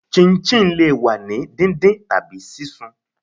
chinchin le wa ni díndín tabi sisún